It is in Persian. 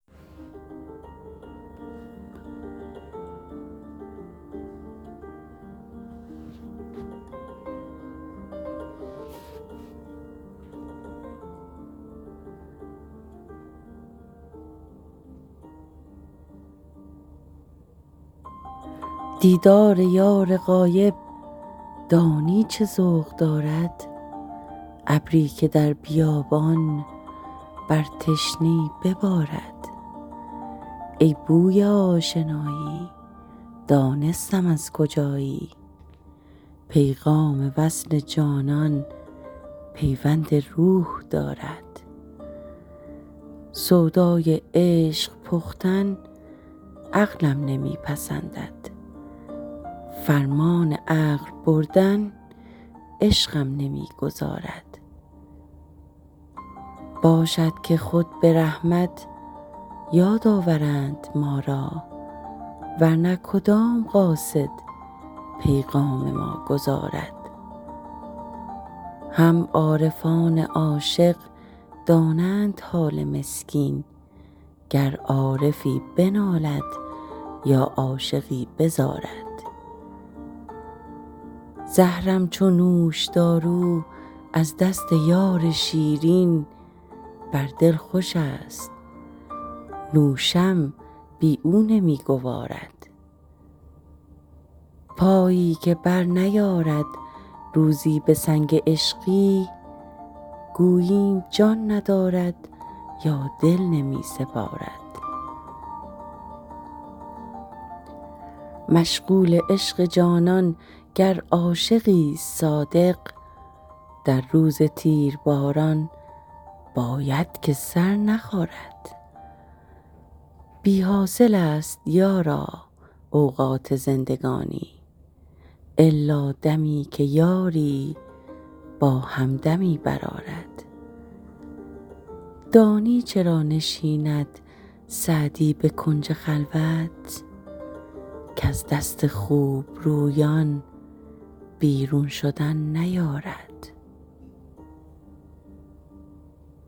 دیدار یار غایب دانی چه ذوق دارد ابری که در بیابان بر تشنه ای ببارد ای بوی آشنایی دانستم از کجایی پیغام وصل جانان پیوند روح دارد سودای عشق پختن عقلم نمی پسندد فرمان عقل بردن عشقم نمی گذارد باشد که خود به رحمت یاد آورند ما را ور نه کدام قاصد پیغام ما گزارد هم عارفان عاشق دانند حال مسکین گر عارفی بنالد یا عاشقی بزارد زهرم چو نوشدارو از دست یار شیرین بر دل خوشست نوشم بی او نمی گوارد پایی که برنیارد روزی به سنگ عشقی گوییم جان ندارد یا دل نمی سپارد مشغول عشق جانان گر عاشقیست صادق در روز تیرباران باید که سر نخارد بی حاصلست یارا اوقات زندگانی الا دمی که یاری با همدمی برآرد دانی چرا نشیند سعدی به کنج خلوت کز دست خوبرویان بیرون شدن نیارد